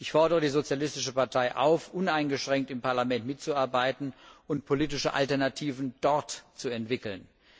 Ich fordere die sozialistische Partei auf, uneingeschränkt im Parlament mitzuarbeiten und politische Alternativen dort zu entwickeln.